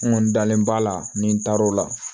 N kɔni dalen b'a la ni n taar'o la